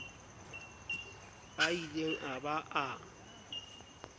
a ileng a ba a